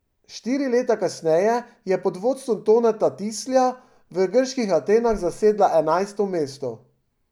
Štiri leta kasneje je pod vodstvom Toneta Tislja v grških Atenah zasedla enajsto mesto.